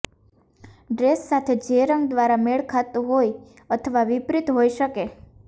dress સાથે જે રંગ દ્વારા મેળ ખાતો હોય અથવા વિપરીત હોઈ શકે